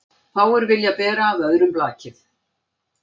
Fáir vilja bera af öðrum blakið.